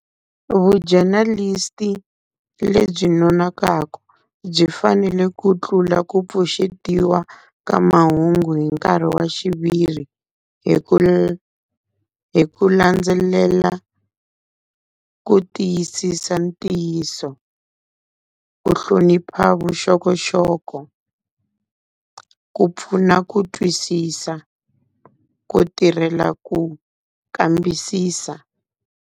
Vu-journalist-i lebyi nonokaku byi fanele ku tlula ku pfuxetiwa ka mahungu hi nkarhi wa xiviri, hi ku hi ku landzelela ku tiyisisa ntiyiso, ku hlonipha vuxokoxoko, ku pfuna ku twisisa, ku tirhela ku kambisisa.